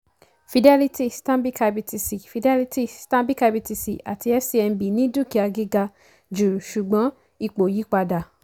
fidelity stanbic ibtc fidelity stanbic ibtc àti fcmb ní dúkìá gíga jù ṣùgbọ́n ipò yí padà.